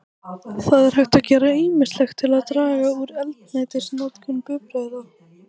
Það er hægt að gera ýmislegt til þess að draga úr eldsneytisnotkun bifreiða.